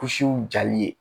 Kusiw jali ye